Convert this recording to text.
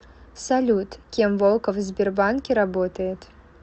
салют кем волков в сбербанке работает